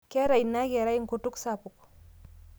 Keeta inia kerai nkutuk sapuk